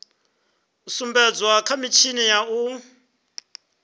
sumbedzwa kha mitshini ya u